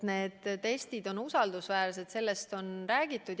Need testid on usaldusväärsed, sellest on räägitud.